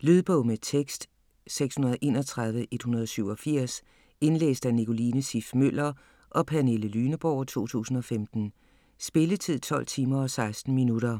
Lydbog med tekst 631187 Indlæst af Nicoline Siff Møller og Pernille Lyneborg, 2015. Spilletid: 12 timer, 16 minutter.